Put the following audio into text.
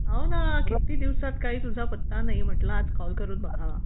हो ना किती दिवसात तुझा काही पत्ता नाही म्हटलं आज कॉल करून बघावा